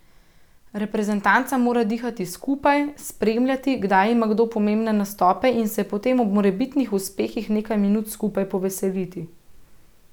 Reprezentanca mora dihati skupaj, spremljati, kdaj ima kdo pomembne nastope, in se potem ob morebitnih uspehih nekaj minut skupaj poveseliti.